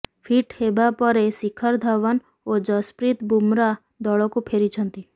fit ହେବା ପରେ ଶିଖର ଧଓ୍ବନ ଓ ଯଶପ୍ରୀତ ବୁମରା ଦଳକୁ ଫେରିଛନ୍ତି